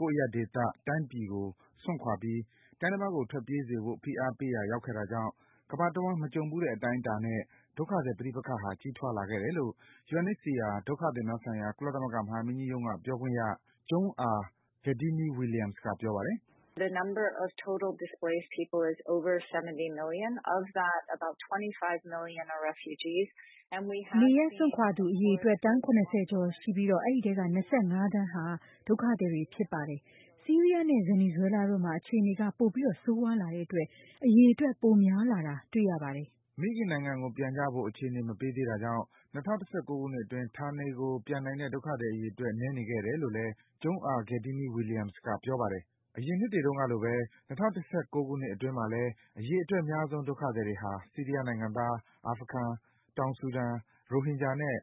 ကိုယ့်အရပ်ဒေသ၊ တိုင်းပြည်ကို စွန့်ခွာပြီး တိုင်းတပါးကို ထွက်ပြေးစေဖို့ ဖိအားပေးရာ ရောက်ခဲ့တာကြောင့် ကမ္ဘာတဝှမ်း မကြုံဘူးတဲ့ အတိုင်းအတာနဲ့ ဒုက္ခသည် ပဋိပက္ခဟာ ကြီးထွားလာခဲ့တယ်လို့ UNHCR ဒုက္ခသည်များဆိုင်ရာ ကုလသမဂ္ဂ မဟာမင်းကြီးရုံးက ပြောခွင့်ရ Joung-ah Ghedini-Williams က ပြောပါတယ်။ "နေရပ်စွန့်ခွာသူ အရေအတွက် သန်း ၇၀ ကျော်ရှိနေပြီး အဲဒီထဲက ၂၅ သန်းဟာ ဒုက္ခသည်တွေဖြစ်ပါတယ်။ ဆီးရီးယား နဲ့ ဗင်နီဇွဲလားတို့မှာ အခြေအနေက ပိုမိုဆိုးရွားလာတဲ့ အတွက် အရေအတွက် ပိုများလာတာ တွေ့နေရပါတယ်။" မိခင်နိုင်ငံကို ပြန်ကြဖို့ အခြေအနေ မပေးသေးတာကြောင့် ၂၀၁၉ ခုနှစ်အတွင်း ဌာနေကို ပြန်နိုင်တဲ့ ဒုက္ခသည် အရေအတွက် နည်းနေခဲ့တယ် လို့လည်း Joung-ah Ghedini-Williams က ပြောပါတယ်။ အရင်နှစ်တွေ တုန်းကလိုဘဲ ၂၀၁၉ ခုနှစ်အတွင်းမှာလည်း အရေအတွက် အများဆုံး ဒုက္ခသည်တွေဟာ ဆီးရီးယား နိုင်ငံသား၊ အာဖဂန်၊ တောင်ဆူဒန်၊ ရိုဟင်ဂျာနဲ့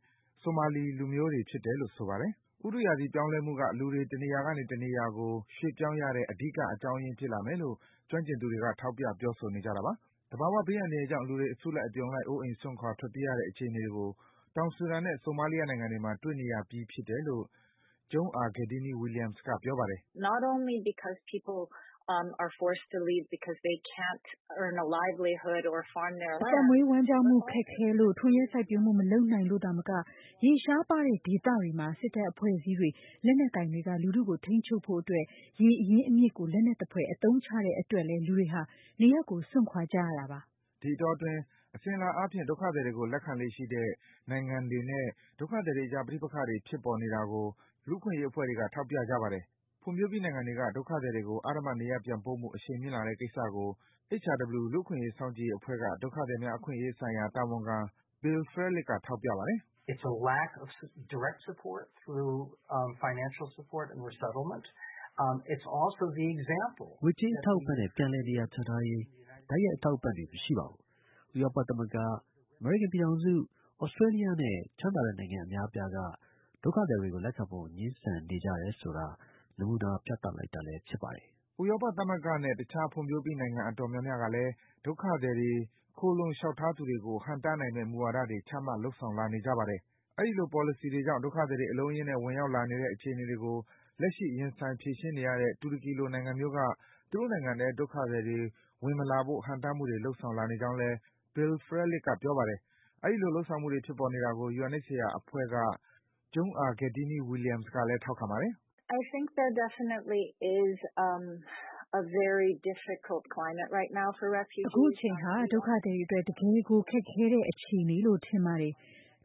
ဆိုမာလီ လူမျိုးတွေ ဖြစ်တယ်လို့ဆိုပါတယ်။ ဥတုရာသီ ပြောင်းလဲမှုက လူတွေ တနေရာကနေ တနေရာကို ရွှေ့ပြောင်းရတဲ့ အဓိက အကြောင်းရင်း ဖြစ်လာမယ်လို့ ကျွမ်းကျင်သူတွေ ထောက်ပြ ပြောဆိုနေကြပါတယ်။ သဘာဝ ဘေးအန္တရာယ်ကြောင့် လူတွေ အစုလိုက်အပြုံလိုက် အိုးအိမ်စွန့်ခွာ ထွက်ပြေးရတဲ့ အခြေအနေတွေကို တောင်ဆူဒန်နဲ့ ဆိုမာလီယာ နိုင်ငံတွေမှာ တွေ့နေရပြီ ဖြစ်တယ်လို့ Joung-ah Ghedini-Williams က ပြောပါတယ်။ " အသက်မွေးဝမ်းကျောင်းမှု ခက်ခဲလို့ ထွန်ယက်စိုက်ပျိုးမှု မလုပ်နိုင်လို့ သာမက၊ ရေရှားပါတဲ့ ဒေသတွေမှာ စစ်တပ် အဖွဲ့အစည်းတွေ လက်နက်ကိုင်တွေက လူထုကို ထိန်းချုပ်ဖို့အတွက် ရေအရင်းအးမြစ်ကို လက်နက်သဖွယ် အသုံးချတဲ့ အတွက်လည်း လူတွေ နေရပ်စွန့်ခွာကြရပါတယ်။" ဒီအတောအတွင်း အစဉ်အလာ အားဖြင့် ဒုက္ခသည်တွေကို လက်ခံလေ့ရှိတဲ့ နိုင်ငံတွေနဲ့ ဒုက္ခသည်တွေ အကြား ပဋိပက္ခတွေ ဖြစ်ပေါ်လာနေတာကို လူ့အခွင့်အရေး အဖွဲ့တွေက ထောက်ပြကြပါတယ်။ ဖွံ့ဖြိုးပြီးနိုင်ငံတွေက ဒုက္ခသည်တွေကို အဓမ္မ နေရပ်ပြန်ပို့မှု အရှိန်မြင့်လာတဲ့ကိစ္စကို HRW လူ့အခွင့်အရေး စောင့်ကြည့်ရေးအဖွဲ့က ဒုက္ခသည်များ အခွင့်အရေးဆိုင်ရာ တာဝန်ခံ Bill Frelick က ထောက်ပြပါတယ်။ " ငွကြေးအထောက်အပံ့ နဲ့ ပြန်လည်နေရာချထားရေး တိုက်ရိုက်အထောက်အပံ့ တွေ မရှိပါဘူး။ ဥရောပသမဂ္ဂ၊ အမေရိကန်ြပ်ညထောင်စု၊ သြစတြေးလျ နဲ့ ချမ်းသာတဲ့နိုင်ငံ အများအပြားက ဒုက္ခသည်တွေကို လက်ခံဖို့ ငြင်းဆန်ကြတယ်ဆိုတာ နမူနာ ပြသလိုက်တာလည်း ဖြစ်ပါတယ်။" ဥရောပသမဂ္ဂနဲ့ တခြား ဖွံ့ဖြိုးပြီး နိုင်ငံတော်တော်များများကလည်း ဒုက္ခသည်တွေ၊ ခိုလှုံခွင့်လျှောက်ထားသူတွေကို ဟန့်တားနိုင်မယ့် မူဝါဒတွေ ချမှတ်လုပ်ဆောင် လာနေကြပါတယ်။ အဲဒီလို ပေါ်လစီတွေကြောင့် ဒုက္ခသည်တွေ အလုံးအရင်းနဲ့ ဝင်ရောက်လာနေတဲ့ အခြေအနေတွေကို လက်ရှိ ရင်ဆိုင် ဖြေရှင်းနေရတဲ့ တူရကီလို နိုင်ငံမျိုးက သူတို့နိုင်ငံထဲ ဒုက္ခသည်တွေ ဝင်မလာဖို့ ဟန့်တားမှုတွေ လုပ်ဆောင်လာနေ ကြောင်းလည်း Bill Frelick က ပြောပါတယ်။ အဲဒီလို လုပ်ဆောင်မှုတွေ ဖြစ်ပေါ်နေတယ်ဆိုတာကို UNHCR အဖွဲ့က Joung-ah Ghedini-Williams ကလည်း ထောက်ခံပါတယ်။ " အခုအချိန်ဟာ ဒုက္ခသည်တွေအတွက် တကယ့်ကိုခက်ခဲတဲ့ အခြအနေလို့ ထင်ပါတယ်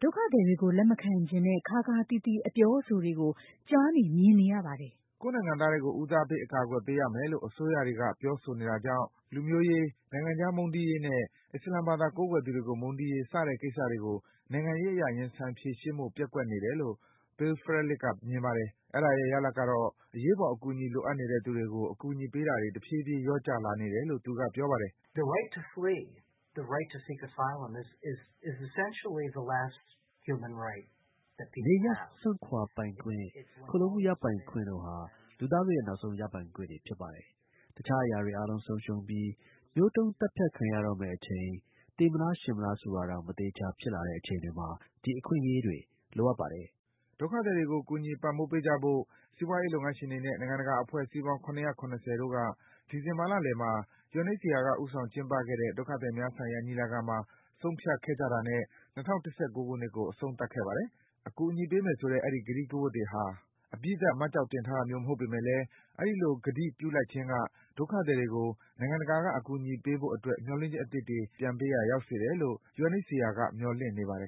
။ ဒုက္ခသညတွေကို လက်မခံချင်တဲ့ ခါးခါးသီးသီး အပြောအဆိုတွေကို ကြားနေ မြင်နေရပါတယ်။" ကိုယ့်နိုင်ငံသားတွေကို ဦးစားပေး အကာကွယ်ပေးရမယ်လို့ အစိုးရတွေ ပြောဆိုနေကြတာကြောင့် လူမျိုးရေး၊ နိုင်ငံခြားသား မုန်းတီးရေးနဲ့ အစ္စလာမ်ဘာသာ ကိုးကွယ်သူတွေကို မုန်းတီးရေး စတဲ့ကိစ္စတွေကို နိုင်ငံရေးအရ ရင်ဆိုင်ဖြေရှင်းဖို့ ပျက်ကွက်နေတယ်လို့ Bill Frelick က မြင်ပါတယ်။ အဲဒါရဲ့ ရလဒ်ကတော့ အရေးပေါ် အကူအညီ လိုအပ်နေတဲ့ သူတွေကို အကူအညီပေးတာတွေ တဖြည်းဖြည်း လျော့နည်းလာနေတယ်လို့ သူက ပြောပါတယ်။ " နေရပ်စွန့်ခွါပိုင်ခွင့်၊ ခိုလှုံမှုရယူပိုင်ခွင့် တို့ဟာ လူသားတို့ရဲ့ နောက်ဆုံးရပိုင်ခွင့်တွေ ဖြစ်ပါတယ်။ တခြားအရာတွေ အားလုံး ဆုံးရှုံးပြီး မျိုးတုံးသတ်ဖြတ်ခံရတော့မယ့် အချိန် ရှင်မလား သေမလားဆိုတာတောင် မသေချာ ဖြစ်လာတဲ့အချိန် တွေမှာ ဒီအခွင့်အရေးတွေ လိုအပ်ပါတယ်။" ဒုက္ခသည်တွေကို ကူညီ ပံံ့ပိုးပေးကြဖို့ စီးပွားရေး လုပ်ငန်းတွေနဲ့ နိုင်ငံတကာ အဖွဲ့အစည်းပေါင်း ၇၇၀ တို့က ဒီဇင်ဘာ လလယ်မှာ UNHCR က ဦးဆောင် ကျင်းပခဲ့တဲ့ ဒုက္ခသည်များဆိုင်ရာ ညီလာခံမှာ ဆုံးဖြတ်ချက်ချတာနဲ့ ၂၀၁၉ ခုနှစ်ကို အဆုံးသတ်ခဲ့ပါတယ်။ အကူအညီ ပေးမယ်ဆိုတဲ့ အဲဒီ ကတိ ကဝတ်တွေဟာ အပြီးသတ် မှတ်ကျောက်တင်ထားတာမျိုး မဟုတ်ပေမယ့်လည်း အဲဒီလို ကတိပြုလိုက်ခြင်းက ဒုက္ခသည်တွေကို နိုင်ငံတကာက ကူညီဖို့အတွက် မျှော်လင့်ချက် အသစ်တွေ ပြန်ပေးရာ ရောက်စေတယ်လို့ UNHCR က မျှော်လင့်နေပါတယ်